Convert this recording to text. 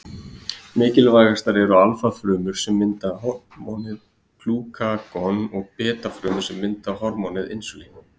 Mikilvægastar eru alfa-frumur sem mynda hormónið glúkagon og beta-frumur sem mynda hormónið insúlín.